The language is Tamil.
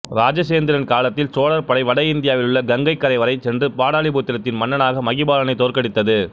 இராசேந்திரன் காலத்தில் சோழர் படை வட இந்தியாவிலுள்ள கங்கைக் கரை வரை சென்று பாடலிபுத்திரத்தின் மன்னனான மகிபாலனைத் தோற்கடித்தது